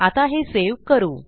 आता हे सेव्ह करू